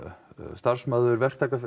starfsmaður